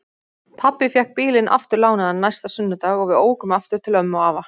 Pabbi fékk bílinn aftur lánaðan næsta sunnudag og við ókum aftur til ömmu og afa.